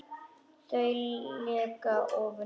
Þau leka ofan í djúpin.